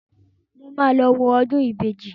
Mo máa lọ wo ọdún ìbejì